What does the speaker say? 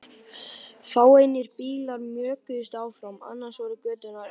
Fáeinir bílar mjökuðust framhjá, annars voru göturnar auðar.